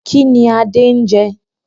Kínní Adé ń jẹ?